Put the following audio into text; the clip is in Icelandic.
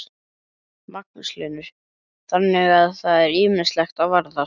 Magnús Hlynur: Þannig að það er ýmislegt að varast?